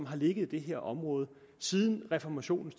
har ligget i det her område siden reformationen